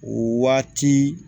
O waati